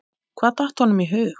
Hvað datt honum í hug?